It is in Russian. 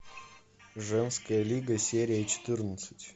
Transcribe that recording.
женская лига серия четырнадцать